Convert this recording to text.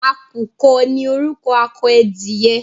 À̀kùkọ ní orúkọ akọ edìyẹ.